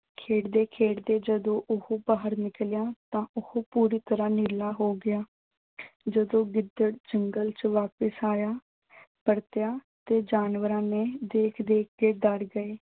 ਖੇਡਦੇ-ਖੇਡਦੇ ਜਦੋਂ ਉਹ ਬਾਹਰ ਨਿਕਲਿਆਂ ਤਾਂ ਉਹ ਪੂਰੀ ਤਰ੍ਹਾਂ ਨੀਲਾ ਹੋ ਗਿਆ। ਜਦੋਂ ਗਿੱਦੜ ਜੰਗਲ ਚ ਵਾਪਸ ਆਇਆ, ਪਰਤਿਆਂ ਤੇ ਜਾਨਵਰਾਂ ਨੇ ਦੇਖ-ਦੇਖ ਕੇ ਡਰ ਗਏ।